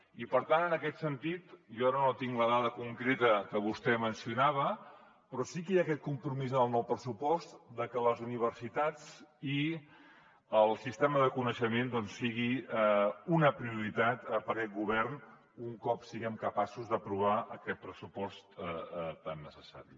i per tant en aquest sentit jo ara no tinc la dada concreta que vostè mencionava però sí que hi ha aquest compromís en el nou pressupost de que les universitats i el sistema de coneixement doncs sigui una prioritat per aquest govern un cop siguem capaços d’aprovar aquest pressupost tan necessari